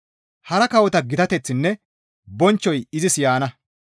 Hara kawota gitateththinne bonchchoy izis yaana.